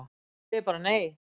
Ég segi bara nei!